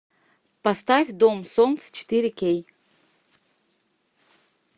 поставь дом солнца четыре кей